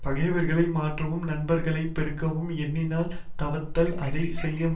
பகைவர்களை மாற்றவும் நண்பர்களை பெருக்கவும் எண்ணினால் தவத்தால் அதை செய்ய முடியும்